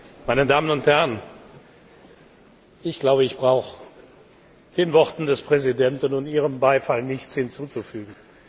Meine Damen und Herren, ich glaube, ich brauche den Worten des Präsidenten und Ihrem Beifall nichts hinzuzufügen.